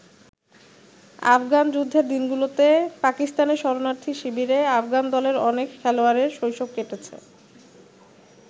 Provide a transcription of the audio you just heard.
আফগান যুদ্ধের দিনগুলোতে পাকিস্তানে শরণার্থী শিবিরে আফগান দলের অনেক খেলোয়াড়ের শৈশব কেটেছে।